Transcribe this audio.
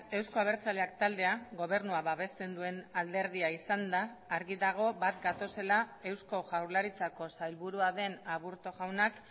euzko abertzaleak taldea gobernua babesten duen alderdia izanda argi dago bat gatozela eusko jaurlaritzako sailburua den aburto jaunak